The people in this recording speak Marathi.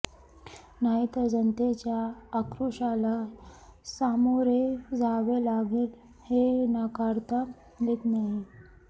नाही तर जनतेच्या अक्रोशाला सामोरे जावे लागेल हे नाकारता येत नाही